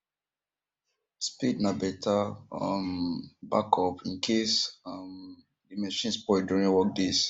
spade na better um backup incase um the machines spoil during work days